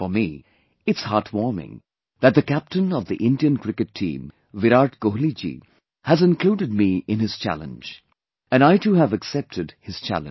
For me, it's heartwarming that the captain of the Indian Cricket team Virat Kohli ji has included me in his challenge... and I too have accepted his challenge